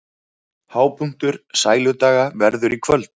Hápunktur Sæludaga verður í kvöld